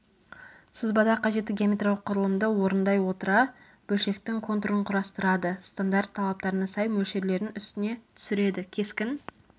сызбада қажетті геометриялық құрылымды орындай отыра бөлшектің контурын құрастырады стандарт талаптарына сай мөлшерлерін үстіне түсіреді кескін